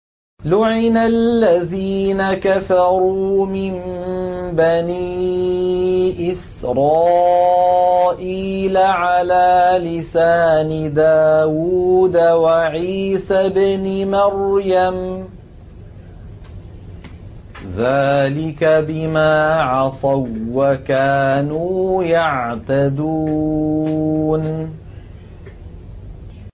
لُعِنَ الَّذِينَ كَفَرُوا مِن بَنِي إِسْرَائِيلَ عَلَىٰ لِسَانِ دَاوُودَ وَعِيسَى ابْنِ مَرْيَمَ ۚ ذَٰلِكَ بِمَا عَصَوا وَّكَانُوا يَعْتَدُونَ